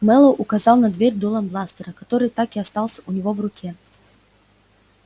мэллоу указал на дверь дулом бластера который так и остался у него в руке